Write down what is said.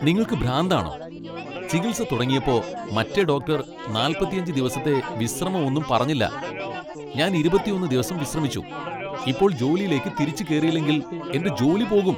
നിങ്ങൾക്ക് ഭ്രാന്താണോ? ചികിൽസ തുടങ്ങിയപ്പോ മറ്റേ ഡോക്ടർ നാൽപ്പത്തിയഞ്ച് ദിവസത്തെ വിശ്രമം ഒന്നും പറഞ്ഞില്ല . ഞാൻ ഇരുപത്തിയൊന്ന് ദിവസം വിശ്രമിച്ചു, ഇപ്പോൾ ജോലിയിലേക്ക് തിരിച്ചു കേറിയില്ലെങ്കിൽ എന്റെ ജോലി പോകും .